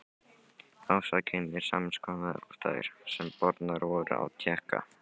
Ásakanir sams konar og þær, sem bornar voru á Tékka.